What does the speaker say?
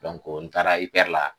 n taara la.